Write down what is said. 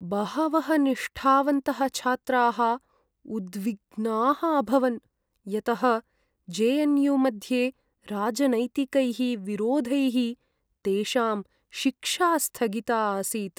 बहवः निष्ठावन्तः छात्राः उद्विग्नाः अभवन् यतः जे.एन्.यू. मध्ये राजनैतिकैः विरोधैः तेषां शिक्षा स्थगिता आसीत्।